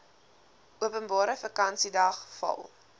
openbare vakansiedag val